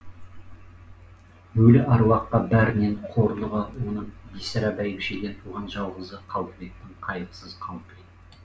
өлі әруаққа бәрінен қорлығы оның бибісара бәйбішеден туған жалғызы қалдыбектің қайғысыз қалпы еді